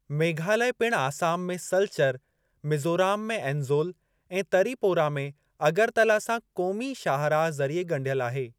मेघालया पिणु आसाम में सलचर, मीज़ोराम में एज़ोल, ऐं तरीपोरा में अगरतला सां क़ोमी शाहराह ज़रिए ॻंढियल आहे।